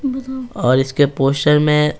और इसके पोस्टर में--